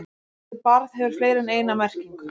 Orðið barð hefur fleiri en eina merkingu.